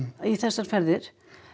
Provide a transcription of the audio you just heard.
í þessar ferðir